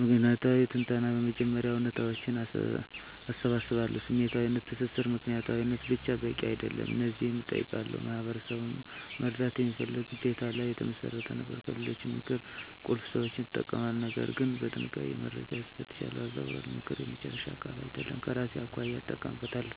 ምክንያታዊ ትንተና በመጀመሪያ እውነታዎችን እሰባስባለሁ። #ስሜታዊ ትስስር ምክንያታዊነት ብቻ በቂ አይደለም። እነዚህን እጠይቃለሁ፦ "ማህበረሰብን መርዳት" የሚለው ግዴታ ላይ የተመሰረተ ነበር። #ከሌሎች ምክር ቁልፍ ሰዎችን እጠቀማለሁ፣ ነገር ግን በጥንቃቄ፦ - መረጃን እፈትሻለሁ፣ አያዛውርም፦ ምክር የመጨረሻ ቃል አይደለም፤ ከራሴ አኳያ እጠቀምበታለሁ።